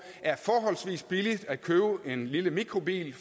er forholdsvis billigt at købe en lille mikrobil